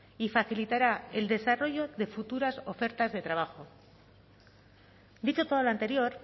y facilitará el desarrollo de futuras ofertas de trabajo dicho todo lo anterior